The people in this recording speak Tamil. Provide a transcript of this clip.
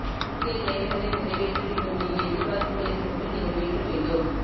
முக்கிய தேவைகளை நிறைவேற்றி விட்டோம் இனி எதிர்பார்ப்புகளை மட்டுமே நிறைவேற்ற வேண்டும்